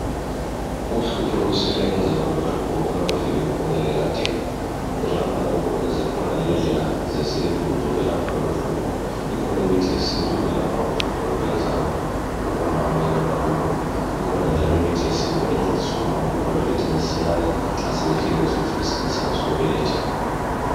Uhlupho lokuswela inzalo luhlupho olwaluvele lukhona lekadeni ngenxa yakhonalokhu zikhona lendlela zesintu zokwelapha loluhlupho ikhoni imithi yesintu yokwelapha uhlupho lwenzalo kubomama ikakhulu, ikhona njalo imithi yesintu encedisa omama ukuthi babelethe masinyane nxa sebefikile isikhathi sabo sokubeletha.